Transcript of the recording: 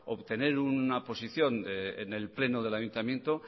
obtener una posición en el pleno del ayuntamiento